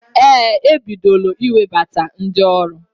Ee, ebidola iwebata ndi ọrụ.